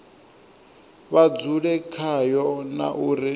vha dzule khayo na uri